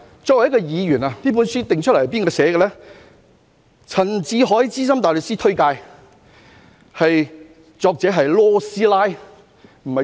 這本書由陳志海資深大律師推介，作者是 "LAW 師奶"。